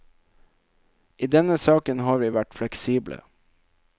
I denne saken har vi vært fleksible.